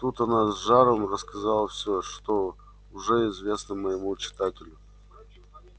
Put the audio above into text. тут она с жаром рассказала всё что уже известно моему читателю